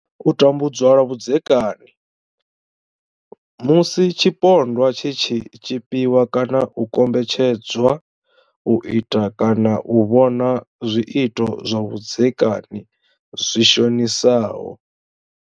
U tambudzwa lwa vhudzekani, Musi tshipondwa tshi tshi tshipiwa kana u kombetshedzwa u ita kana u vhona zwiito zwa vhudzekani zwi shonisaho.